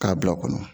K'a bila o kɔnɔ